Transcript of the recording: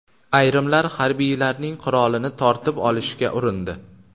Ayrimlar harbiylarning qurolini tortib olishga urindi.